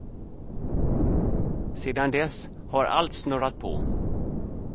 Sedan dess har allt snurrat på.